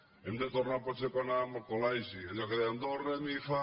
hem de tornar potser a quan anàvem al col·legi a allò que dèiem do re mi fa